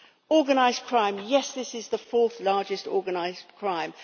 Organised crime yes, this is the fourth largest organised crime.